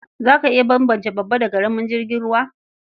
Za ka iya bambance babba da ƙaramin jirgin ruwa?